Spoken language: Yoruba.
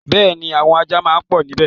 Bẹ́ẹ̀ni, àwọn ajá máa pọ̀ níbẹ̀.